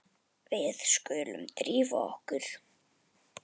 Við skulum drífa okkur.